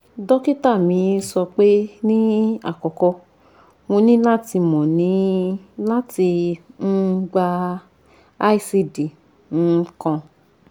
dokita mi sọpe ni akọkọ mo ni lati mo ni lati um gba icd um kan